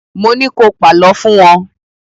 Mo ní ko pàlọ́ fún wọn!